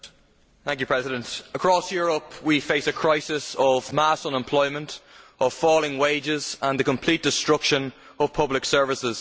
Mr President, across Europe we face a crisis of mass unemployment, falling wages and the complete destruction of public services.